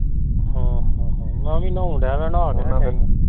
ਹਾਂ ਹਾਂ ਮੈਂ ਵੀ ਨਾਉਣ ਡਹਿ ਪੈਣਾ